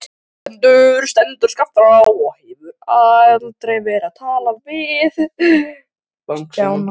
Gvendur stendur skammt frá og hefur verið að tala.